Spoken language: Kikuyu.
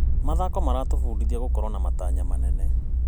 Mathako maratũbundithia gũkorwo na matanya manene.